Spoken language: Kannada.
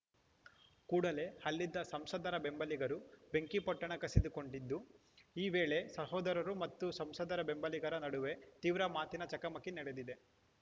ಕೂಡಲೇ ಅಲ್ಲಿದ್ದ ಸಂಸದರ ಬೆಂಬಲಿಗರು ಬೆಂಕಿಪೊಟ್ಟಣ ಕಸಿದುಕೊಂಡಿದ್ದು ಈ ವೇಳೆ ಸಹೋದರರು ಮತ್ತು ಸಂಸದರ ಬೆಂಬಲಿಗರ ನಡುವೆ ತೀವ್ರ ಮಾತಿನ ಚಕಮಕಿ ನಡೆದಿದೆ